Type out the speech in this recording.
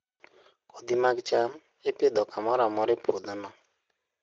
Kodhi mag cham ipidho kamoro amora e puodhono.